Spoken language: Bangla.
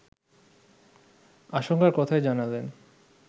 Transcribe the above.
আশঙ্কার কথাই জানালেন